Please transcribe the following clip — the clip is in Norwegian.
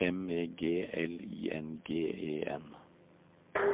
M E G L I N G E N